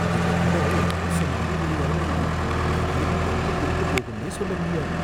எங்க கடை ஒரு மோசமான ஏரியாவுல இருக்கு, திடீர்னு எப்ப திருட்டுப் போகும்னே சொல்ல முடியாது.